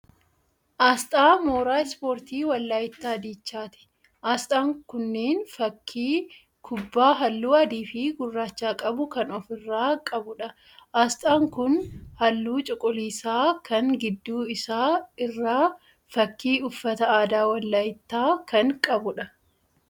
Asxaa mooraa ispoortii Walayittaa Dichaati. Asxaan kunneen fakkii kubbaa halluu adii fi gurraacha qabu kan ofi irraa qabuudha. Asxaan kun halluu cuquliisaa kan gidduu isaa irraa fakkii uffata aadaa Walayittaa kan qabuudha.